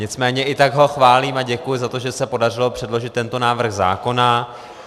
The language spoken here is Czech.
Nicméně i tak ho chválím a děkuji za to, že se podařilo předložit tento návrh zákona.